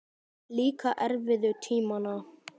Líka erfiðu tímana.